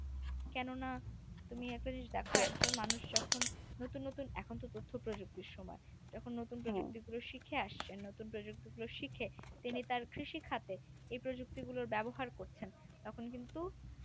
কেন না তুমি একটা জিনিস দেখো একজন মানুষ যখন নতুন নতুন এখন তো তথ্যপ্রযুক্তির সময় নতুন নতুন প্রযুক্তি গুলো শিখে আসছে নতুন প্রযুক্তি গুলো শিখে তিনি তার কৃষিকাজে এ প্রযুক্তি গুলোর ব্যবহার করছেন তখন কিন্তু